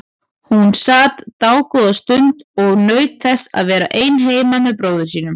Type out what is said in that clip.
Hún sat dágóða stund og naut þess að vera ein heima með bróður sínum.